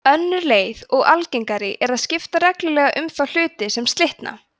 önnur leið og algengari er að skipta reglulega um þá hluta sem slitna